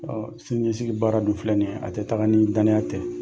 sini ɲɛsigi baara dun filɛ nin ye, a tɛ taga ni danaya tɛ.